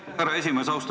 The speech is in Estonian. Aitäh, härra esimees!